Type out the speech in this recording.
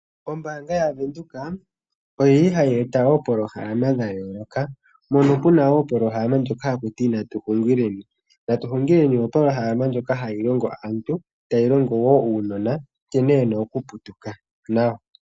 Ombanga yaVenduka oyili hayi eta woo opolohalama dha yoloka .Mono muna woo opolohalama hakutiwa natuhungileni .Natuhungileni opolohalama ndjoka hayi longo aantu tayi longo woo uunona nkene wuna okuputuka nawa.